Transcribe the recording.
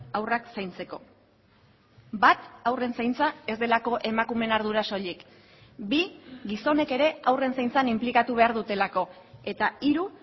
haurrak zaintzeko bat haurren zaintza ez delako emakumeen ardura soilik bi gizonek ere haurren zaintzan inplikatu behar dutelako eta hiru